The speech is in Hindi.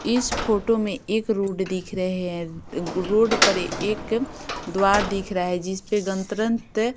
इस फोटो में एक रोड दिख रहे है रोड पर एक द्वार दिख रहा है जिस पर गणतंत्र --